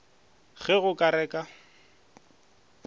ge go ka re ka